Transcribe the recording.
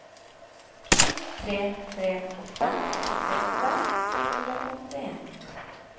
to tre tre åtte åttiåtte to hundre og åttien